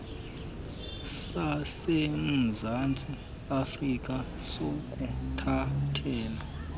sasemzantsi afrka sokuthathela